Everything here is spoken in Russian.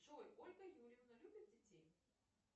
джой ольга юрьевна любит детей